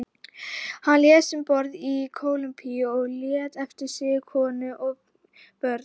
Hann lést um borð í Kólumbíu og lætur eftir sig konu og fjögur börn.